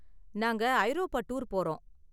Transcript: நாங்க ஐரோப்பா டூர் போறோம்.